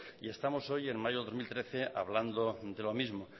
y estamos hoy en mayo de dos mil trece hablando de lo mismo